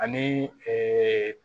Ani